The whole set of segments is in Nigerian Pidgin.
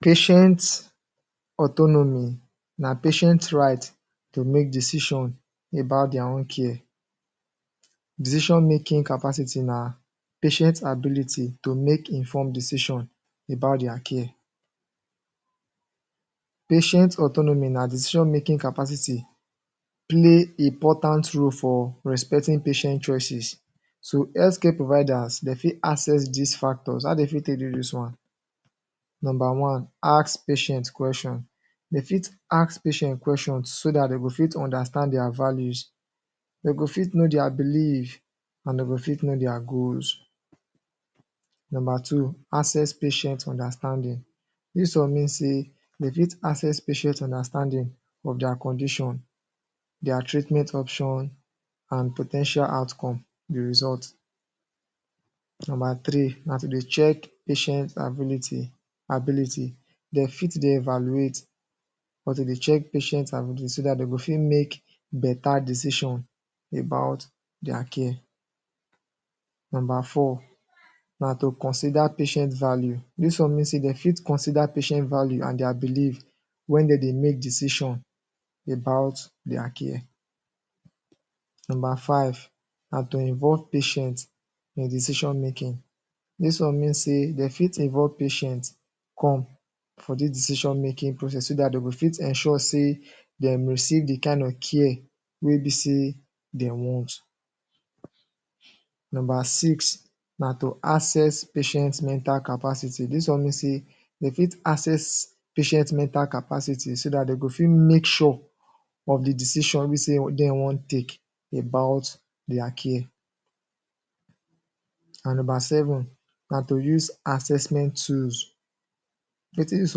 Patient autonomy na patient right to make decision about dia own care. Decision-making capacity na patient ability to make informed decision about dia care. Patient autonomy an decision-making capacity play important role for respecting patient choices. So, health care providers, de fit assess dis factors. How de fit take do dis one? Nomba one: Ask patient question. De fit ask patient question so dat de go fit understand dia values, de go fit know dia belief, an de go fit know dia goals. Nomba two: Assess patient understanding. Dis one mean sey dey fit assess patient understanding of dia condition, dia treatment option an po ten tial outcome — the result. Nomba three na to dey check patient ability. De fit dey evaluate or to dey check patient ability so de go fit make beta decision about dia care. Nomba four na to consider patient value. Dis one mean sey de fit consider patient value and dia belief wen de dey make decision about dia care. Nomba five na to involve patient in decision-making. Dis one mean sey de fit involve patient come for dis decision-making process so dat de go fit ensure sey dem receive the kain of care wey be sey de want. Nomba six na to assess patient mental capacity. Dis one mean sey de fit assess patient mental capacity so dat de go fit make sure of the decision wey be sey de wan take about dia care. An nomba seven na to use assessment tools. Wetin dis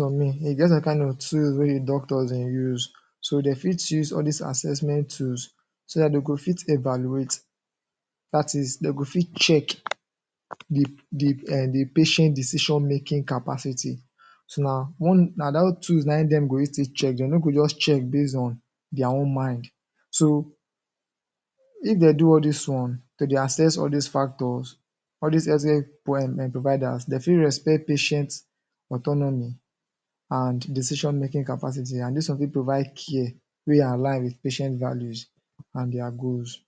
one mean? E get some kain of tools wey the doctors de use. So de fit use all dis assessment tools so dat de go fit evaluate, dat is, de go fit check the er patient decision-making capacity. So, na dat tools na ein dem go use take check. De no go juz check base on dia own mind. So if de do all dis ones to dey assess all dis factors, all dis health care er providers, de fit respect patient autonomy and decision-making capacity. An dis one fit provide care wey align with patient values an dia goals.